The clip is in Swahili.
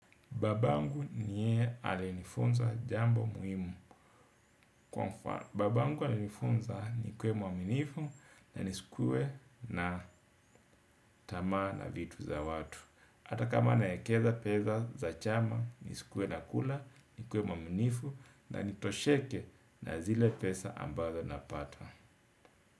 Babangu ni yeye aliyenifunza jambo muhimu. Kwa mfano, babangu alinifunza nikue mwaminifu na nisikue na tamaa na vitu za watu. Ata kama naekeza peza za chama, nisikuwe nakula, nikuwe mwaminifu na nitosheke na zile pesa ambazo napata.